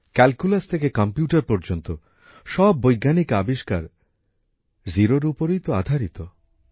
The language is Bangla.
ক্যালকুলাস থেকে কম্পিউটার পর্যন্ত সব বৈজ্ঞানিক আবিষ্কার জিরোর উপরেই তো আধারিত